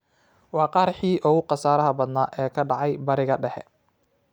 Waa qaraxii ugu khasaaraha badnaa ee ka dhaca Bariga Dhexe.